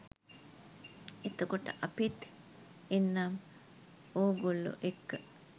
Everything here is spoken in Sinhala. එතකොට අපිත් එන්නම් ඕගොල්ලෝ එක්ක